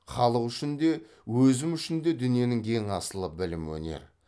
халық үшін де өзім үшін де дүниенің ең асылы білім өнер